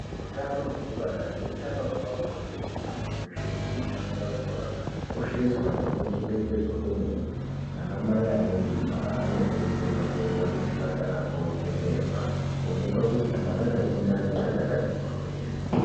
Utano hwekubara neutano hwepabonde hwemuntu weshe hunofanira kuchengetedzwa nekukosheswa kwemene. Ana mai ane mimba anokurudzirwa kuenda kuzvipatara kwovhenekwa kuonekwa kuti kamwana Kari mundani kachakati mboryo ere.